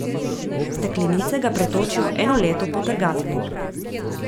V steklenice ga pretočijo eno leto po trgatvi.